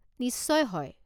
নিশ্চয় হয়।